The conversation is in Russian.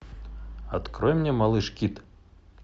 открой мне малыш кид